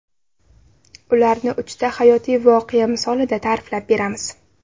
Ularni uchta hayotiy voqea misolida ta’riflab beramiz.